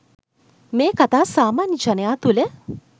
මෙ කතා සාමාන්‍ය ජනයා තුළ